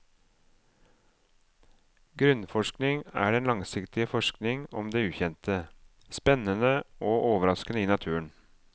Grunnforskning er den langsiktige forskning om det ukjente, spennende og overraskende i naturen.